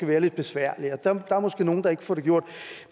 være lidt besværligt og der er måske nogle der ikke får det gjort